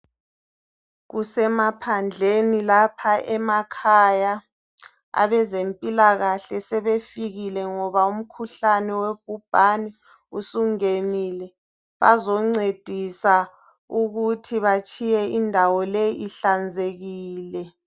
Kusemaphandleni lapha emakhaya abezempilakahle sebefikile ngoba umkhuhlane wobhubhane usungenile bazoncedisa ukuthi batshiye indawo le ihlanzekile.